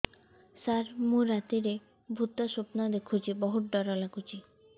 ସାର ମୁ ରାତିରେ ଭୁତ ସ୍ୱପ୍ନ ଦେଖୁଚି ବହୁତ ଡର ଲାଗୁଚି